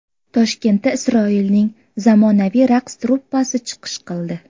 Toshkentda Isroilning zamonaviy raqs truppasi chiqish qildi.